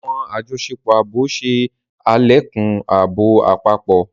Awọn àjọṣepọ̀ ààbò ṣe alekun ààbò àpapọ